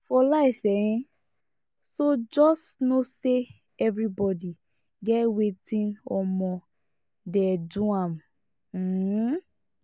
for life um so jus no sey evribodi get wetin um dey do am um